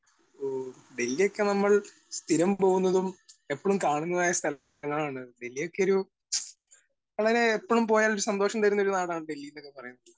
Speaker 1 ഓ ഡൽഹി ഒക്കെ നമ്മള് സ്ഥിരം പോകുന്നതും എപ്പഴും കാണുന്നതും ആയ സ്ഥലങ്ങളാണ്. ഡൽഹി ഒക്കെ ഒരു വളരെ എപ്പഴും പോയാൽ സന്തോഷം തരുന്ന ഒരു നാടാണ് ഡൽഹി എന്നൊക്കെ പറയണത്.